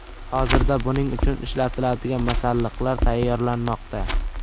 Hozirda buning uchun ishlatiladigan masalliqlar tayyorlanmoqda.